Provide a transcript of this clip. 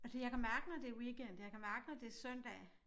Og det jeg kan mærke når det weekend jeg kan mærke når det søndag